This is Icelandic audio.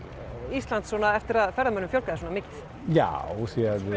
Íslands eftir að ferðamönnum fjölgaði svona mikið já því